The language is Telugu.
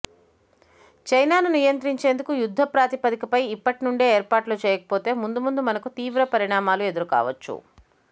చైనాను నియంత్రించేందుకు యుద్ధ ప్రాతిపదికపై ఇప్పటి నుండే ఏర్పాట్లు చేయకపోతే ముందు ముందు మనకు తీవ్ర పరిణామాలు ఎదురు కావచ్చు